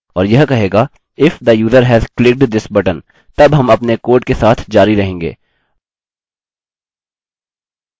और यह कहेगा if the user has clicked this button तब हम अपने कोड के साथ जारी रहेंगे